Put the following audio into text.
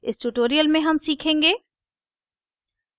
इस tutorial में हम सीखेंगे